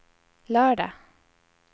lördag